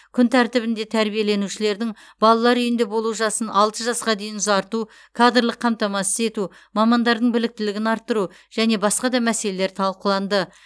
күн тәртібінде тәрбиеленушілердің балалар үйінде болу жасын алты жасқа дейін ұзарту кадрлық қамтамасыз ету мамандардың біліктілігін арттыру және басқа да мәселелер талқыланды